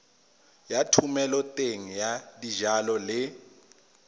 ya thomeloteng ya dijalo le